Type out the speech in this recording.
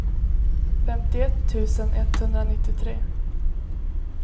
femtioett tusen etthundranittiotre